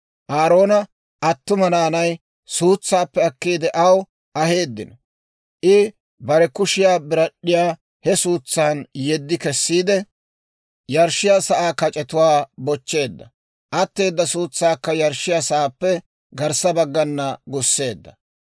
Aaroona attuma naanay suutsaappe akkiide aw aheeddino; I bare kushiyaa birad'd'iyaa he suutsan yeddi kessiide, yarshshiyaa sa'aa kac'etuwaa bochcheedda; atteeda suutsaakka yarshshiyaa sa'aappe garssa baggana gusseedda.